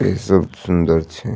इ सब सुन्दर छै।